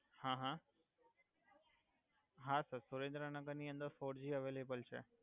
હા હા હા સર સુરેંદ્રનગર ની અંદર ફોરજી અવૈલબલ છે